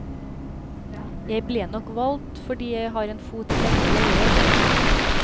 Jeg ble nok valgt fordi jeg har en fot i begge leirer.